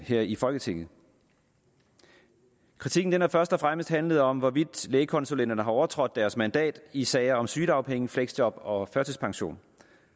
her i folketinget kritikken har først og fremmest handlet om hvorvidt lægekonsulenterne har overtrådt deres mandat i sager om sygedagpenge fleksjob og førtidspension